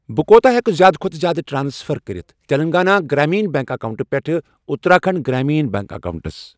بہٕ کوٗتاہ ہٮ۪کہٕ زِیٛادٕ کھوتہٕ زِیٛادٕ ٹرانسفر کٔرِتھ تیٚلنٛگانا گرٛامیٖنا بیٚنٛک اکاونٹہٕ پٮ۪ٹھٕ اُتراکھنٛڈ گرٛامیٖن بیٚنٛک اکاونٹَس۔